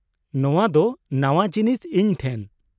ᱱᱚᱶᱟ ᱫᱚ ᱱᱟᱶᱟ ᱡᱤᱱᱤᱥ ᱤᱧ ᱴᱷᱮᱱ ᱾